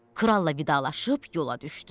Kralla vidalaşıb yola düşdü.